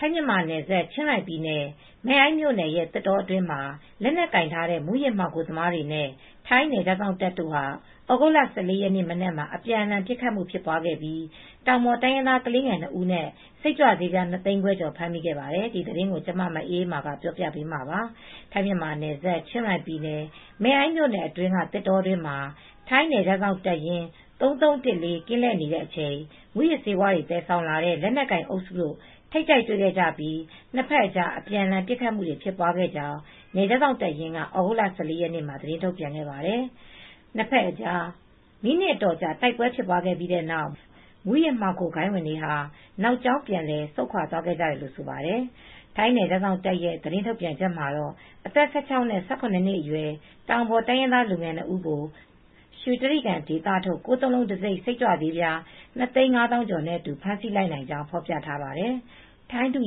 ထိုင်း- မြန်မာနယ်စပ် ချင်းရိုင်ပြည်နယ် မဲ့အိုင်းမြို့နယ်ရဲ့ သစ်တောအတွင်းမှာ လက်နက်ကိုင်ထားတဲ့ မူးယစ်မှောင်ခိုသမားတွေနဲ့ ထိုင်းနယ်ခြားစောင့်တပ် တို့ဟာ သြဂုတ်လ ၁၄ ရက်နေ့ မနက်မှာ အပြန်အလှန် ပစ်ခတ်မှု ဖြစ်ပွားခဲ့ပြီး တောင်ပေါ်တိုင်းရင်းသား ကလေးငယ်၂ဦးနဲ့ စိတ်ကြွဆေးပြား၂သိန်းခွဲကျော် ဖမ်းမိခဲ့ပါတယ်။ ထိုင်းအခြေစိုက် ဗွီအိုအေ သတင်းထောက် မအေးအေးမာ ပြောပြပေးမှာပါ။ ထိုင်း - မြန်မာ နယ်စပ် ချင်းရိုင်ပြည်နယ် မဲအိုင်း မြို့နယ်အတွင်းက သစ်တောတွင်းမှာ ထိုင်းနယ်ခြားစောင့်တပ်ရင်း ၃၃၁၄ ကင်း လှည့်နေတဲ့ အချိန်မှာ မူးယစ်ဆေးဝါးတွေ သယ်ဆောင်လာကြတဲ့ လက်နက်ကိုင် အုပ်စုတို့ ထိပ်တိုက်တွေ့ခဲ့ကြပြီး နှစ်ဖက်အကြား အပြန်အလှန် ပစ်ခတ်မှုတွေ ဖြစ်ပွားခဲ့ကြောင်း နယ်ခြား စောင့်တပ်ရင်းက သြဂုတ်လ ၁၄ ရက်နေ့မှာပဲ သတင်းထုတ်ပြန်ခဲ့ပါတယ်။ နှစ်ဖက်အကြား မိနစ်အတော်ကြာ တိုက်ပွဲဖြစ်ပွားပြီးတဲ့နောက် မူးယစ်မှောင်ခိုဂိုဏ်းဝင် တွေဟာ နောက်ကြောင်းပြန်လည်ဆုတ်ခွာ သွားခဲ့ကြတယ်လို့ဆိုပါတယ်။ ထိုင်းနယ်ခြားစောင့်တပ်ရဲ့ သတင်းထုတ်ပြန်ချက်မှာတော့ အသက် ၁၆ နဲ့ ၁၇ နှစ်အရွယ် တောင်ပေါ်တိုင်းရင်းသား လူငယ် ၂ ဦးကို ရွှေတြိဂံဒေသထုတ် ၉၉၉ တံဆိပ် စိတ်ကြွဆေးပြား ၂၅၁,၄၀၀ ကျော်နဲ့အတူ ဖမ်းဆီးလိုက်နိုင်ကြောင်း ဖော်ပြထားပါတယ်။ ထိုင်းဒု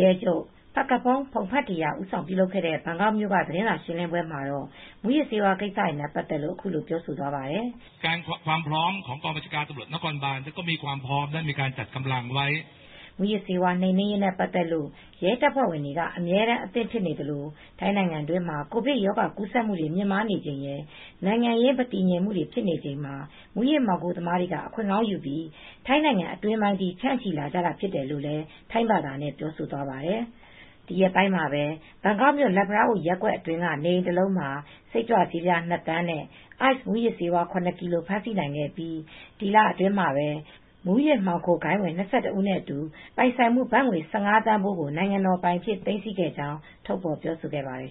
ရဲချုပ် Phakphong Pongphetra ဦးဆောင်ပြုလုပ်တဲ့ ဘန်ကောက်မြို့က သတင်းစာရှင်းလင်းပွဲမှာတော့ မူယစ်ဆေးဝါး ကိစ္စတွေနဲ့ ပတ်သက်လို့ အခုလို ပြောသွားပါတယ်။ မူးယစ်ဆေးဝါး နှိမ်နင်းရေးနဲ့ ပတ်သက်လို့ ရဲတပ်ဖွဲဝင်ကတော့ အမြဲတမ်း အသင့်ဖြစ်နေသလို ထိုင်းနို်င်ငံမှာ ကိုဗစ်ကပ်ရောဂါ ကူးစက်မှုတွေ မြင့်မားနေချိန်ရယ်၊ နိုင်င်ငံရေး မတည်ငြိမ်မှုတွေ ဖြစ်ချိန်မှာ မူးယစ်မှောင်ခိုသမားတွေက အခွင့်ကောင်းယူပြီး ထိုင်းနိုင်ငံအတွင်းပိုင်းထိ ဖြန့်ချိလာကြတာ ဖြစ်တယ်လို့ ထိုင်းဘာသာနဲ့ ပြောဆိုသွားတာ ဖြစ်ပါတယ်။ ဒီရက်ပိုင်းမှာပဲ ဘန်ကောက်မြို့ လတ်ဖလားအို ရပ်ကွက် အတွင်းက နေအိမ် တလုံးမှာ စိတ်ကြွဆးပြား ၂ သန်းနဲ့ Ice မူးယစ်ဆေး ၇ ကီလိုဂရမ် ဖမ်းဆီးနိုင်ခဲ့ပြီး ဒီလအတွင်း မှာ မှောင်ခိုဂိုဏ်းဝင် ၂၁ ဦးနဲ့ အတူ ပိုင်ဆိုင်မှု ဘတ်ငွေ ၁၅ သန်းဖိုးကို နိုင်ငံတော်ပိုင် အြဖ်စ သိမ်းဆည်းခဲ့ကြောင်းလည်း ပြောဆိုခဲ့ပါတယ်